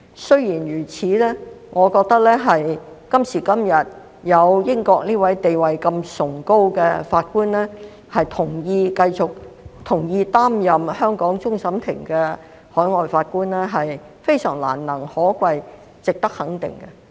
雖然如此，我覺得今時今日有這名地位如此崇高的英國法官同意擔任香港終審法院的海外法官是非常難能可貴，值得肯定的。